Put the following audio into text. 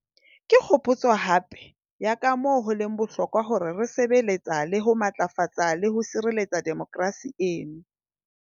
Ke kgopotso hape ya kamoo ho leng bohlokwa hore re sebe letsa le ho matlafatsa le ho sireletsa demokerasi eno.